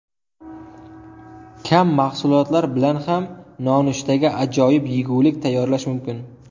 Kam mahsulotlar bilan ham nonushtaga ajoyib yegulik tayyorlash mumkin.